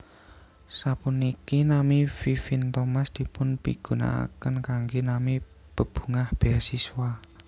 Sapuniki nami Vivien Thomas dipun pigunakaken kanggé nami bebungah béasiswa